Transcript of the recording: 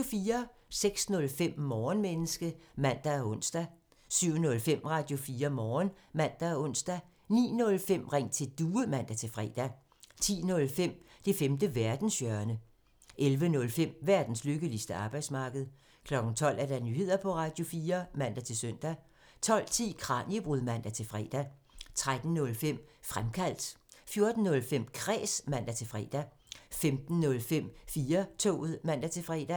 06:05: Morgenmenneske (man og ons) 07:05: Radio4 Morgen (man og ons) 09:05: Ring til Due (man-fre) 10:05: Det femte verdenshjørne (man) 11:05: Verdens lykkeligste arbejdsmarked (man) 12:00: Nyheder på Radio4 (man-søn) 12:10: Kraniebrud (man-fre) 13:05: Fremkaldt (man) 14:05: Kræs (man-fre) 15:05: 4-toget (man-fre)